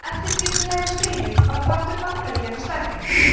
eftir því sem leið á stríðið varð þáttur bandaríkjanna stærri